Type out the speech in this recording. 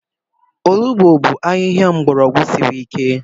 Olugbu bụ ahịhịa mgbọrọgwụ siri ike.